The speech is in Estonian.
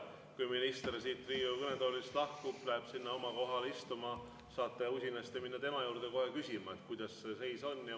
Kui minister siit Riigikogu kõnetoolist lahkub ja läheb sinna oma kohale istuma, siis saate usinasti minna tema juurde küsima, kuidas see seis on.